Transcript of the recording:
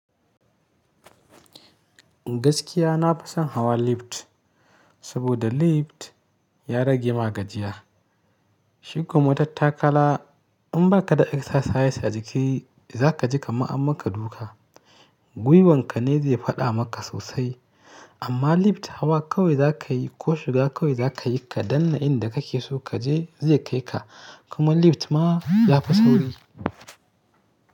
Gaskiya na fi son hawa lift saboda lift ya rage magajiya. Shiko matattakala in ba ka da exercise a jiki za ka ji ka ma amma ka duka. Guiwan ka ne zai faɗa maka sosai. Amma lift hawa kawai za ka yi ko shiga kawai za ka yi ka danna inda kake so kaje zai kai ka. Kuma lift ma ya fi sauri.